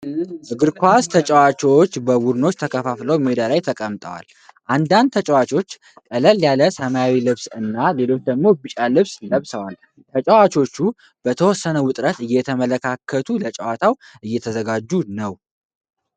እግር ኳስ ተጫዋቾች በቡድኖች ተከፋፍለው ሜዳ ላይ ቆመዋል። አንዳንድ ተጫዋቾች ቀለል ያለ ሰማያዊ ልብስና ሌሎች ደግሞ ቢጫ ልብስ ለብሰዋል። ተጫዋቾቹ በተወሰነ ውጥረት እየተመለካከቱ ለጨዋታው እየተዘጋጁ ነው።